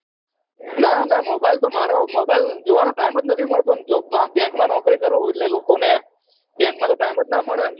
ના ના mobile તો મારો mobile જોવાનો time જ નહી મળતો ને job માં bank માં નોકરી કરું એટલે લોકો ને bank મા તો time જ ના મળેને